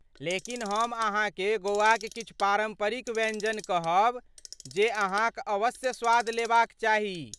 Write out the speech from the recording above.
लेकिन हम अहाँकेँ गोवाक किछु पारम्परिक व्यञ्जन कहब जे अहाँक अवश्य स्वाद लेबा क चाही।